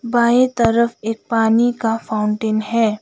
बाएं तरफ एक पानी का फाउंटेन है।